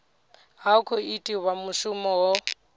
ha khou itiwa mushumo ho